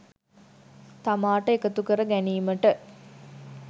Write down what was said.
තමාට එකතු කර ගැනීමට